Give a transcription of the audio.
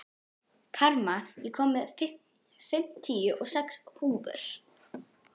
Karma, ég kom með fimmtíu og sex húfur!